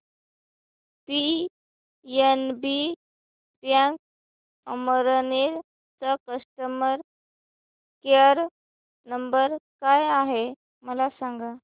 PNB bank Amalner चा customer care number काय आहे मला सांगा